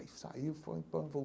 Aí saiu e foi e voltou.